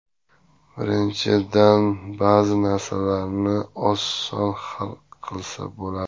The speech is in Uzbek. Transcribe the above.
Birinchidan, ba’zi masalalarni oson hal qilsa bo‘ladi.